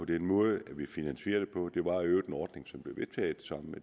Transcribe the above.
den måde vi finansierer det på det var i øvrigt en ordning som blev vedtaget sammen